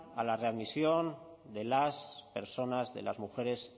a la readmisión de las personas de las mujeres